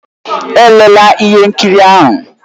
Elela ihe nkiri ahụ!